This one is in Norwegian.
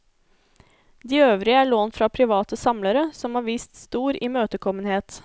De øvrige er lånt fra private samlere, som har vist stor imøtekommenhet.